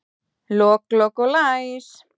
Lok, lok og læs